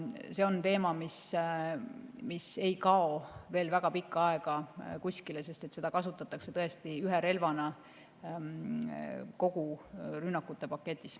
See on teema, mis ei kao veel väga pikka aega kuskile, seda kasutatakse ühe relvana kogu rünnakute paketis.